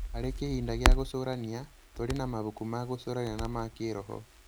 Harĩ kĩhinda gĩa gũcũrania, tũrĩ na mabuku ma gũcũrania na ma kĩroho.